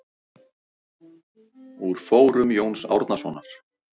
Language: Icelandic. Úr fórum Jóns Árnasonar.